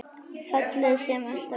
Fjallið sem alltaf er.